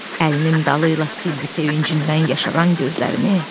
Əlinin dalı ilə sildi sevincindən yaşaran gözlərini.